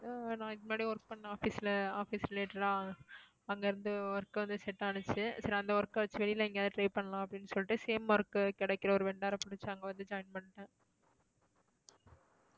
அஹ் நான் இதுக்கு முன்னாடி work பண்ண office ல office related ஆ அங்கருந்து work வந்து check அப்புறம் அந்த work அ வச்சு வெளில எங்கேயாவது try பண்ணலாம் அப்படின்னு சொல்லிட்டு same work கிடைக்கிற ஒரு vendor அ பிடிச்சு அங்க வந்து join பண்ணிட்டேன்.